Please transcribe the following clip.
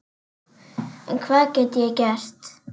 En hvað get ég gert?